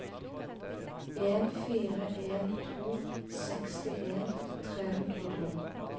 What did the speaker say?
en fire en to sekstien tre hundre og tolv